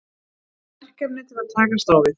Verkefni til að takast á við?